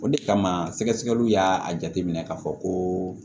O de kama sɛgɛsɛgɛliw y'a jateminɛ k'a fɔ ko